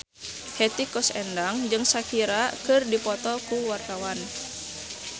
Hetty Koes Endang jeung Shakira keur dipoto ku wartawan